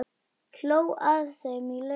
Hló að þeim í laumi.